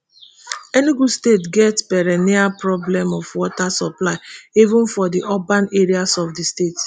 enugu state get perennial problem of water supply even for di urban areas of di state